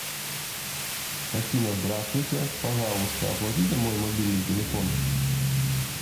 афина здравствуйте пожалуйста оплатите мой мобильный телефон